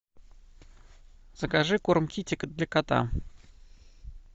закажи корм китикет для кота